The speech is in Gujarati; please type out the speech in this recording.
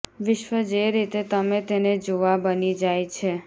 વિશ્વ જે રીતે તમે તેને જોવા બની જાય છે